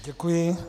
Děkuji.